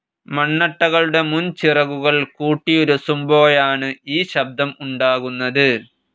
മണ്ണട്ടകളുടെ മുൻചിറകുകൾ കൂട്ടിയുരസുമ്പോഴാണ് ഈ ശബ്ദം ഉണ്ടാകുന്നത്.